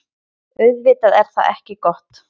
Auðvitað er það ekki gott.